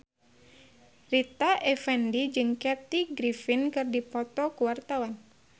Rita Effendy jeung Kathy Griffin keur dipoto ku wartawan